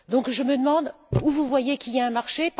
Donc, je me demande où vous voyez qu'il y a un marché.